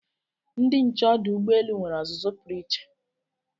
Ndị nche ọdụ ụgbọelu nwere ọzụzụ pụrụ iche